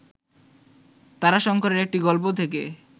তারাশঙ্করের একটি গল্প থেকে